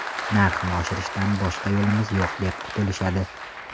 Narxni oshirishdan boshqa yo‘limiz yo‘q deb qutulishadi.